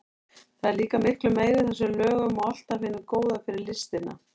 Það er líka miklu meira í þessum lögum og allt af hinu góða fyrir listina.